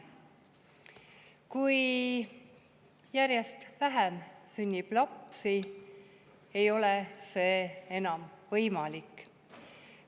Kui lapsi sünnib järjest vähem, ei ole see enam võimalik.